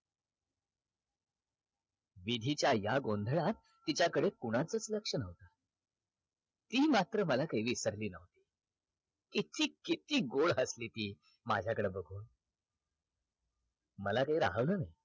विधीच्या या गोंधळात तिच्या कडे कोणाचाच लक्ष नव्हता ती मात्र मला काही विसरली नही किती किती गोड हसली ती मझ्याकड बघून मला काही राहवलं नाही